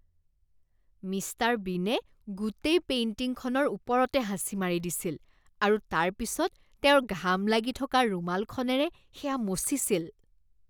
Mister বীনে গোটেই পেইণ্টিংখনৰ ওপৰতে হাঁচি মাৰি দিছিল আৰু তাৰপিছত তেওঁৰ ঘাম লাগি থকা ৰুমালখনেৰে সেয়া মচিছিল।